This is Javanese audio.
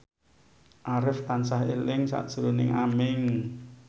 Arif tansah eling sakjroning Aming